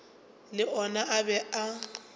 le ona a be a